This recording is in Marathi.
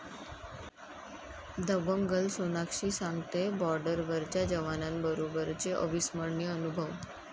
दबंग गर्ल सोनाक्षी सांगतेय बॉर्डरवरच्या जवानांबरोबरचे अविस्मरणीय अनुभव